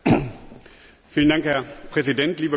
Herr Präsident, liebe Kolleginnen und Kollegen!